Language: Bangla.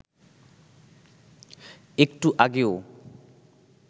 একটু আগেও